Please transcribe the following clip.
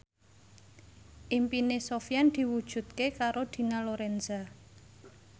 impine Sofyan diwujudke karo Dina Lorenza